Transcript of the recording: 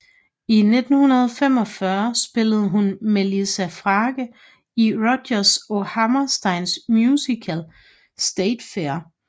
I 1945 spillede hun Melissa Frake i Rodgers og Hammersteins musical State Fair